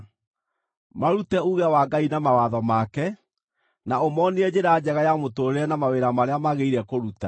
Marute uuge wa Ngai na mawatho make, na ũmoonie njĩra njega ya mũtũũrĩre na mawĩra marĩa magĩrĩire kũruta.